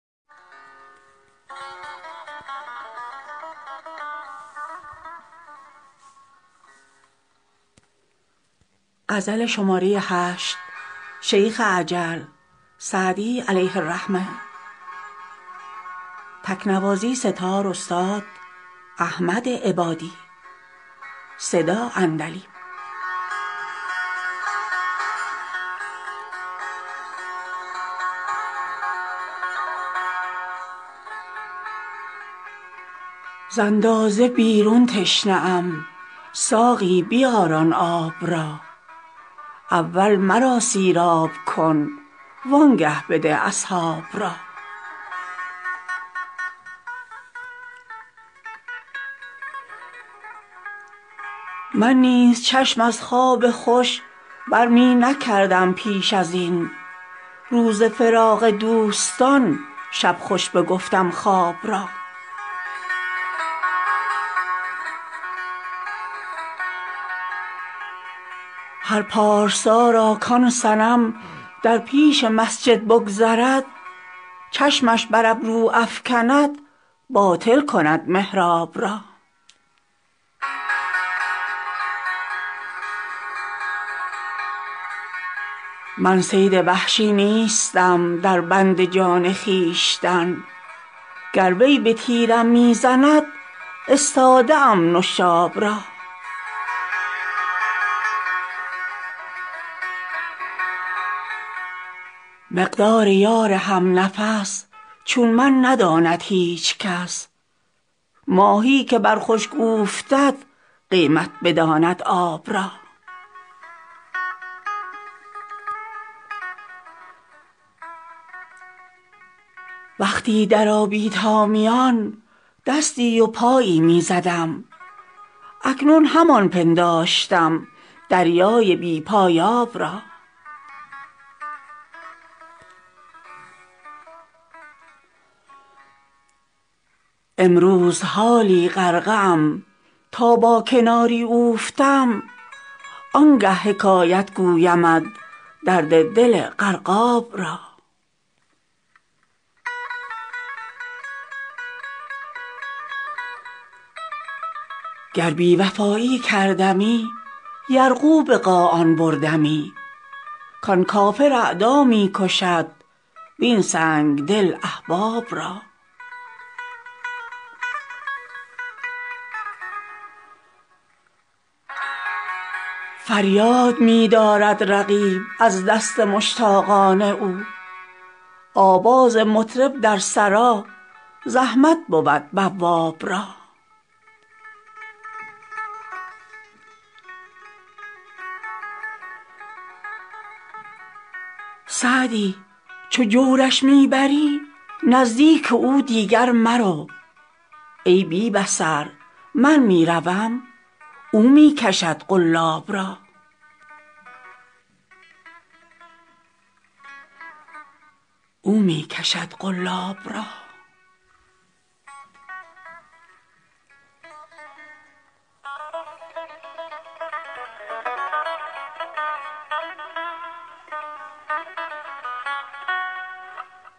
ز اندازه بیرون تشنه ام ساقی بیار آن آب را اول مرا سیراب کن وآنگه بده اصحاب را من نیز چشم از خواب خوش بر می نکردم پیش از این روز فراق دوستان شب خوش بگفتم خواب را هر پارسا را کآن صنم در پیش مسجد بگذرد چشمش بر ابرو افکند باطل کند محراب را من صید وحشی نیستم در بند جان خویشتن گر وی به تیرم می زند استاده ام نشاب را مقدار یار هم نفس چون من نداند هیچ کس ماهی که بر خشک اوفتد قیمت بداند آب را وقتی در آبی تا میان دستی و پایی می زدم اکنون همان پنداشتم دریای بی پایاب را امروز حالا غرقه ام تا با کناری اوفتم آنگه حکایت گویمت درد دل غرقاب را گر بی وفایی کردمی یرغو به قاآن بردمی کآن کافر اعدا می کشد وین سنگدل احباب را فریاد می دارد رقیب از دست مشتاقان او آواز مطرب در سرا زحمت بود بواب را سعدی چو جورش می بری نزدیک او دیگر مرو ای بی بصر من می روم او می کشد قلاب را